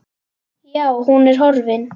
Já, hún er horfin.